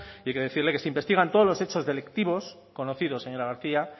y hay que decirle que se investigan todos los hechos delictivos conocidos señora garcía